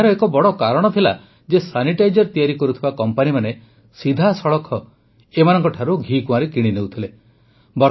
ଏହାର ଏକ ବଡ଼ କାରଣ ଥିଲା ଯେ ସାନିଟାଇଜର୍ ତିଆରି କରୁଥିବା କମ୍ପାନୀମାନେ ସିଧାସଳଖ ଏମାନଙ୍କଠାରୁ ଘିକୁଆଁରୀ କିଣିନେଉଥିଲେ